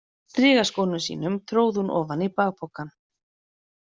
Strigaskónum sínum tróð hún ofan í bakpokann.